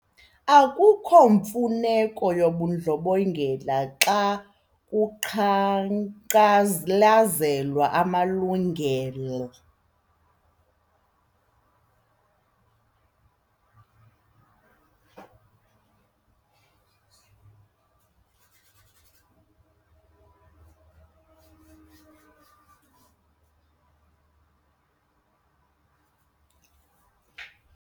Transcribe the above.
Akukho mfuneko yobundlobongela xa kuqhankqalazelwa amalungelo.